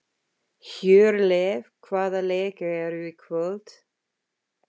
Hjörleif, hvaða leikir eru í kvöld?